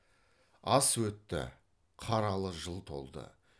ас өтті қаралы жыл толды